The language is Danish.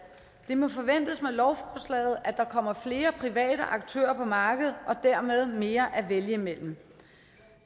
det må forventes med lovforslaget at der kommer flere private aktører på markedet og dermed mere at vælge imellem